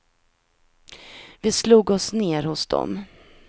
Vi slog oss ner hos dem.